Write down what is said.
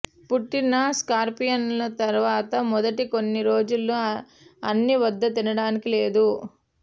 పుట్టిన స్కార్పియన్స్ తర్వాత మొదటి కొన్ని రోజుల్లో అన్ని వద్ద తినడానికి లేదు